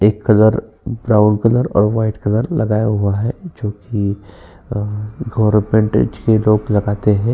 एक colour brown colour और white colour लगाया हुआ जोकि लोग लगाते है।